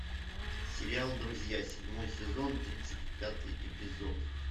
сериал друзья седьмой сезон тридцать пятый эпизод